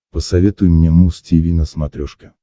посоветуй мне муз тиви на смотрешке